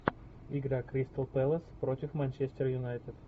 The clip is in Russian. игра кристал пэлас против манчестер юнайтед